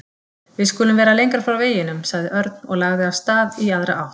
Við skulum vera lengra frá veginum sagði Örn og lagði af stað í aðra átt.